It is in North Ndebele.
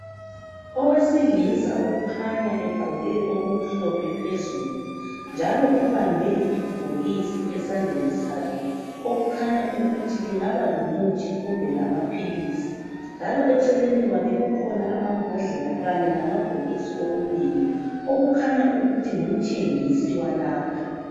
Owesilisa okhanya egqoke okumhlophe phezulu njalo ubambe ibhokisi esandleni sakhe okukhanya ukuthi lingaba lomuthi kumbe amaphilisi njalo eceleni kwakhe kukhona amambhodlela kanye lamabhokisi okunengi okukhanya ukuthi ngumthengisi walapha